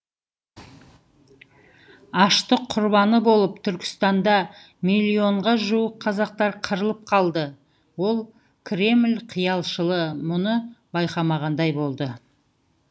аштық құрбаны болып түркістанда миллионға жуық қазақтар қырылып қалды ол кремль қиялшылы мұны байқамағандай болды